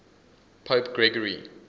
pope gregory